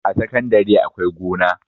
A sakandare akwai gona